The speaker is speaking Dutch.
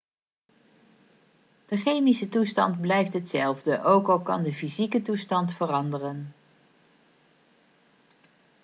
de chemische toestand blijft hetzelfde ook al kan de fysieke toestand veranderen